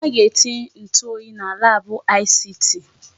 Ha ga-etinye ntụ oyi na laabụ ICT.